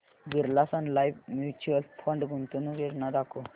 Birla Sun Life mutual fund गुंतवणूक योजना दाखव